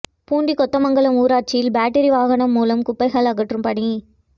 பூண்டி கொத்தமங்கலம் ஊராட்சியில் பேட்டரி வாகனம் மூலம் குப்பைகள் அகற்றும் பணி